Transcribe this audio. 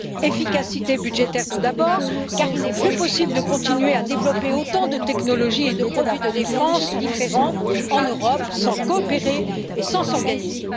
Efficacité budgétaire, tout d'abord, car il n'est plus possible de continuer à développer autant de technologies et de produits de défense différents en Europe sans coopérer et sans s'organiser.